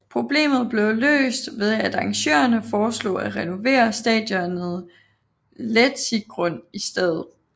Problemet blev løst ved at arrangørerne foreslog at renovere stadionet Letzigrund i stedet